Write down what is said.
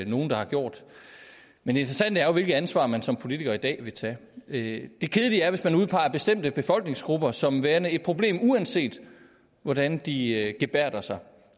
nogle der har gjort men det interessante er jo hvilket ansvar man som politiker i dag vil tage det kedelige er hvis man udpeger bestemte befolkningsgrupper som værende et problem uanset hvordan de gebærder sig